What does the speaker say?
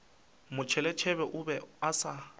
motšheletšhele o be a sa